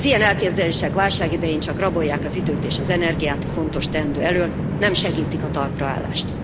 Az ilyen elképzelések válság idején csak rabolják az időt és az energiát a fontos teendő elől, nem segítik a talpra állást.